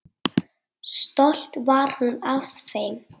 Stolt var hún af þeim.